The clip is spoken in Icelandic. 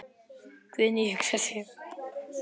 Guðný hugsar sig um.